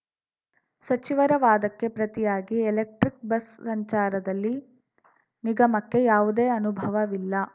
ಸಚಿವರ ವಾದಕ್ಕೆ ಪ್ರತಿಯಾಗಿ ಎಲೆಕ್ಟ್ರಿಕ್‌ ಬಸ್‌ ಸಂಚಾರದಲ್ಲಿ ನಿಗಮಕ್ಕೆ ಯಾವುದೇ ಅನುಭವವಿಲ್ಲ